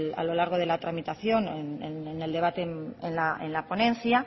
a lo largo de la tramitación en el debate en la ponencia